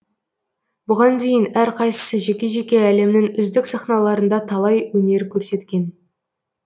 бұған дейін әрқайсысы жеке жеке әлемнің үздік сахналарында талай өнер көрсеткен